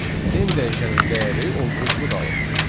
n dəyişənin dəyəri olduğu kimi qalır.